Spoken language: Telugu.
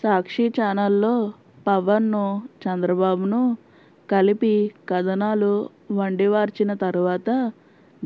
సాక్షి ఛానల్లో పవన్నూ చంద్రబాబునూ కలిపి కథనాలు వండివార్చిన తర్వాత